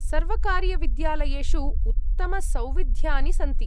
सर्वकारीयविद्यालयेषु उत्तमसौविध्यानि सन्ति।